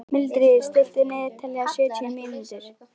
Mildríður, stilltu niðurteljara á sjötíu mínútur.